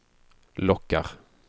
lockar